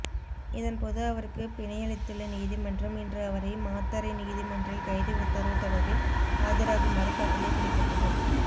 இதன்போது அவருக்கு பிணையளித்துள்ள நீதிமன்றம் இன்று அவரை மாத்தறை நீதிமன்றில் கைது உத்தரவு தொடர்பில் ஆஜராகுமாறு கட்டளை பிறப்பித்தது